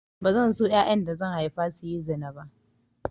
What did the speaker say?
Bazan so yayan da zan haifa su yi zina ba